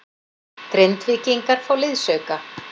Grindvíkingar fá liðsauka